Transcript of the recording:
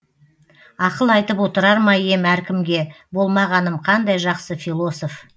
ақыл айтып отырар ма ем әркімге болмағаным қандай жақсы философ